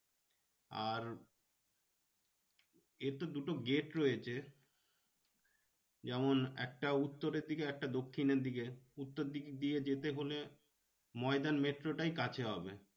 আর এর তো দুটো গেট রয়েছে যেমন একটা উত্তরের দিকে একটা দক্ষিণের দিকে উত্তর দিক দিয়ে যেতে হলে ময়দান মেট্রোটাই কাছে হবে।